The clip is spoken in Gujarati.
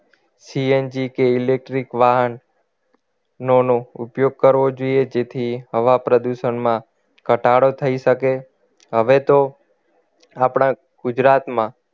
CNG કે electric વાહન નો ઉપયોગ કરવો જોઈએ જેથી હવા પ્રદૂષણમાં ઘટાડો થઈ શકે હવે તો આપણા ગુજરાતમાં